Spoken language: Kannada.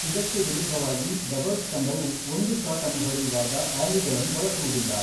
ಇದಕ್ಕೆ ವಿರುದ್ಧವಾಗಿ, ಡಬಲ್ಸ್ ತಂಡವು ಒಂದು ಶಾಟ್ ಅನ್ನು ಹೊಡೆಯುವಾಗ, ಆ್ಯಲಿಗಳನ್ನು ಬಳಸುವುದಿಲ್ಲ.